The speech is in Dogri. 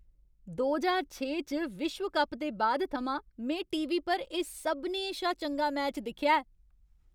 दो ज्हार छे च विश्व कप दे बाद थमां में टी. वी. पर एह् सभनें शा चंगा मैच दिक्खेआ ऐ।